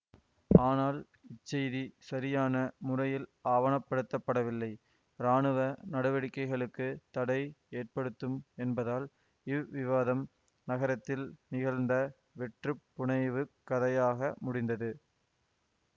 ஆனால் இச்செய்தி சரியான முறையில் ஆவணப்படுத்தப்படவில்லை இராணுவ நடவடிக்கைகளுக்கு தடை ஏற்படுத்தும் என்பதால் இவ்விவாதம் நகரத்தில் நிகழ்ந்த வெற்றுப் புனைவுக் கதையாக முடிந்தது